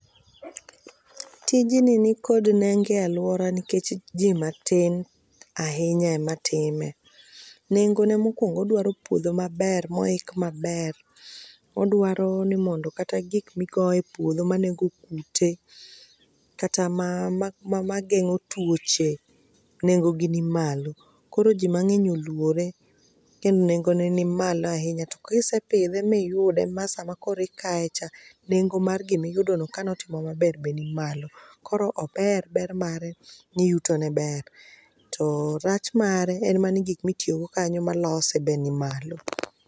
tijni ni kod nengo e alwora nikech ji matin ahinya ematime, nengone mokwongo odwaro puodho maber moik maber. Odwaro ni mondo kata gik migoyo e puodho manego kute kata mageng'o tuoche, nengogi ni malo, koro ji mang'eny olwore, kendo nengone ni malo ahinya to kisepidhe miyude ma sama koro ikayecha, nengo mar gimiyudono kano timo maber be nimalo. Koro ober, ber mare ni yutone ber, to rach mare en ma ni gik mitiyogo kanyo malose be nimalo.